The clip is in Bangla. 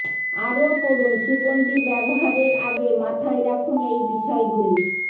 আরও পড়ুন সুগন্ধী ব্যবহারের আগে মাথায় রাখুন এই বিষয়গুলি